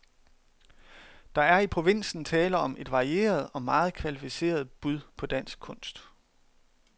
Der er i provinsen tale om et varieret og meget kvalificeret bud på dansk kunst.